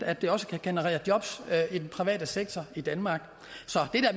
at det også kan generere job i den private sektor i danmark så